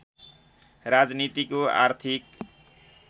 राजनीतिको आर्थिक